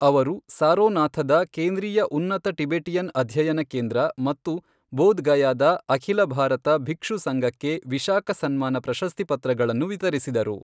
ಅವರು ಸಾರೋನಾಥದ ಕೇಂದ್ರೀಯ ಉನ್ನತ ಟಿಬೆಟಿಯನ್ ಅಧ್ಯಯನ ಕೇಂದ್ರ ಮತ್ತು ಬೋಧ್ ಗಯಾದ ಅಖಿಲ ಭಾರತ ಭಿಕ್ಷು ಸಂಘಕ್ಕೆ ವಿಶಾಖ ಸನ್ಮಾನ ಪ್ರಶಸ್ತಿ ಪತ್ರಗಳನ್ನು ವಿತರಿಸಿದರು.